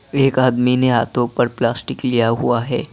एक आदमी ने हाथों पर प्लास्टिक लिया हुआ है।